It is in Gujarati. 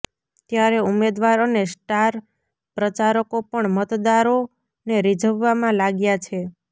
ત્યારે ઉમેદવાર અને સ્ટાર પ્રચારકો પણ મતદારોને રીઝવવામાં લાગ્યા છે